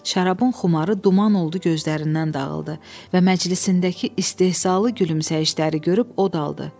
Şarabın xumarı duman oldu, gözlərindən dağıldı və məclisindəki istehzalı gülümsəyişləri görüb o da qaldı.